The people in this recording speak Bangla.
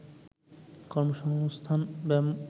কর্মসংস্থান ব্যাংক